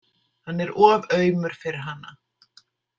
Hann er of aumur fyrir hana.